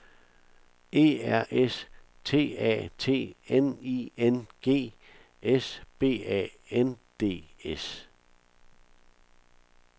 E R S T A T N I N G S B A N D S